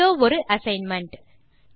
இதோ ஒரு அசைன்மென்ட்